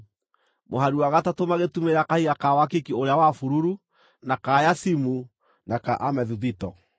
mũhari wa gatatũ magĩtumĩrĩra kahiga ka wakiki ũrĩa wa bururu, na ka yacimu, na ka amethuthito;